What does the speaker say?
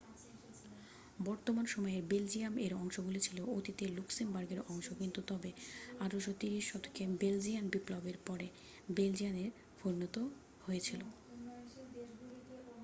বর্তমান সময়ের বেলজিয়াম এর অংশগুলি ছিল অতীতের লুক্সেমবার্গের অংশ কিন্তু তবে 1830 শতকে বেলজিয়ান বিপ্লবের পরে বেলজিয়ানে পরিণত হয়েছিল